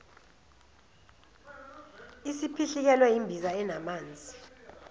isiphihlikelwe yimbiza enamanzi